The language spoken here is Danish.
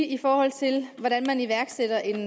i forhold til hvordan man iværksætter en